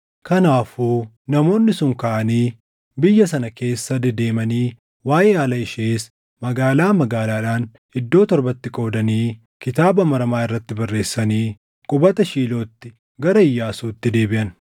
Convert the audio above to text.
Kanaafuu namoonni sun kaʼanii biyya sana keessa dedeemanii waaʼee haala ishees magaalaa magaalaadhaan iddoo torbatti qoodanii kitaaba maramaa irratti barreessanii qubata Shiilootti gara Iyyaasuutti deebiʼan.